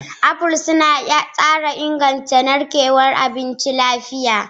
Apples suna inganta tsarin narkewar abinci lafiya.